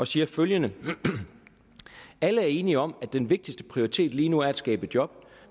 siger følgende alle er enige om at den vigtigste prioritet lige nu er at skabe job